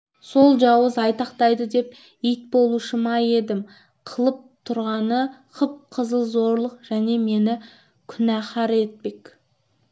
сол жауыз айтақтайды деп ит болушы ма едім қылып тұрғаны қып-қызыл зорлық және мені күнәһар етпек